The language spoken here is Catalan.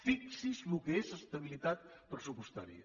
fixi’s el que és estabilitat pressupostària